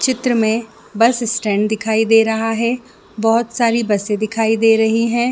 चित्र में bus stand दिखाई दे रहा है बहोत सारी बसे दिखाई दे रही है।